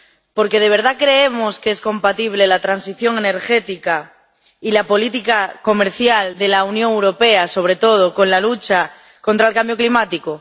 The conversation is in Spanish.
Porque, ¿de verdad creemos que es compatible la transición energética y la política comercial de la Unión Europea, sobre todo, con la lucha contra el cambio climático?